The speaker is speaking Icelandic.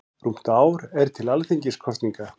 Rúmt ár er til Alþingiskosninga.